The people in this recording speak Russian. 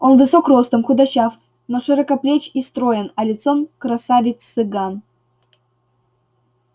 он высок ростом худощав но широкоплеч и строен а лицом красавец цыган